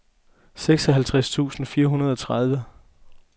seksoghalvtreds tusind fire hundrede og tredive